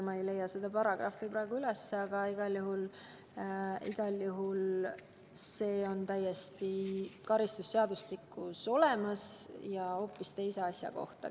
Ma ei leia seda paragrahvi praegu üles, aga igal juhul on see karistusseadustikus täiesti olemas ja käib hoopis teise asja kohta.